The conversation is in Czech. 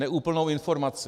Neúplnou informaci.